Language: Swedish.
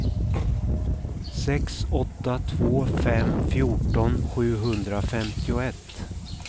sex åtta två fem fjorton sjuhundrafemtioett